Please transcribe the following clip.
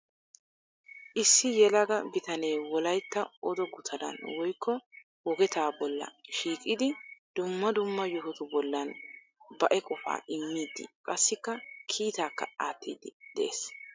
Issi yelaga bitanee wolaytta odo gutaraan woykko wogeta bolla shiiqidi dumma dumma yohotu bollan baei qofaa immidi qassikka kiitakka aattidi de'ees.